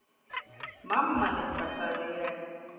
Mamma litla, sagði ég.